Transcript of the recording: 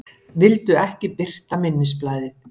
Vildu ekki birta minnisblaðið